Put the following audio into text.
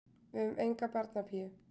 Við höfum enga barnapíu.